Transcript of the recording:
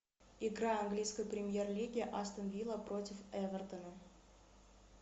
игра английской премьер лиги астон вилла против эвертона